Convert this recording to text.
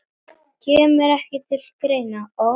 Kemur ekki til greina